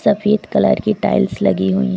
सफेद कलर की टाइल्स लगी हुई है।